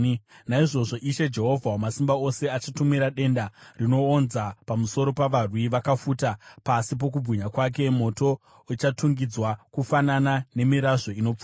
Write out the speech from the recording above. Naizvozvo, Ishe Jehovha Wamasimba Ose, achatumira denda rinoonza pamusoro pavarwi vakafuta; pasi pokubwinya kwake moto uchatungidzwa kufanana nemirazvo inopfuta.